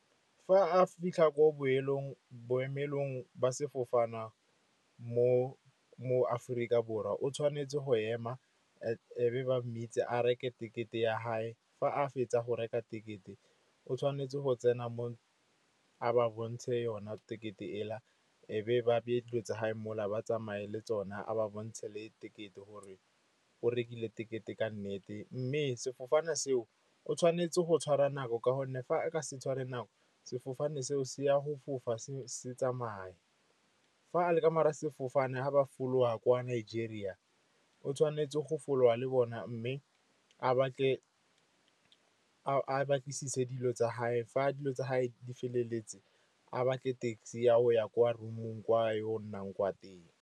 Fa a fitlha ko boemelong ba sefofane mo Aforika Borwa o tshwanetse go ema, e be ba mmitsa a reke tekete ya gage. Fa a fetsa go reka tekete o tshwanetse go tsena mo a ba bontshe yona tekete e la. E be ba beye dilo tse gage mo la ba tsamaye le tsona. A ba bontshe le tekete gore o rekile tekete ka nnete. Mme sefofane seo o tshwanetse go tshwara nako ka gonne fa a ka se tshware nako sefofane, seo se a go fofa se tsamaye. Fa a le ka mogare g a sefofane, ga ba fologa kwa Nigeria, o tshwanetse go folaga le bona, mme a batlisise dilo tsa gage. Fa dilo tsa gage di feleletse, a ba tle taxi ya go ya kwa room-ong kwa yo o nnang kwa teng.